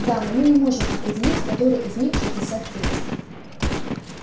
да но мы не можем определить который из них шестьдесят третий